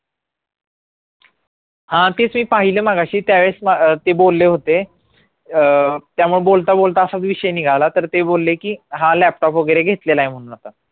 हा तेच मी पाहिलं मगाशी त्यावेळेस ते बोलले होते अं त्यामुळे बोलता बोलता असा विषय निघाला तर ते बोलले की हा laptop वगैरे घेतलेलाय म्हणून